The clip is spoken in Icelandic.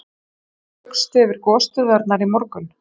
En svo flaugstu yfir gosstöðvarnar í morgun?